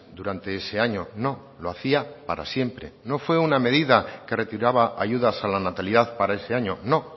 durante ese año no lo hacía para siempre no fue una medida que retiraba ayudas a la natalidad para ese año no